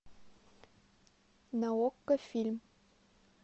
на окко фильм